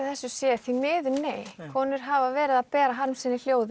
þessu sé því miður nei konur hafa verið að bera harm sinn í hljóð